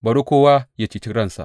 Bari kowa yă ceci ransa!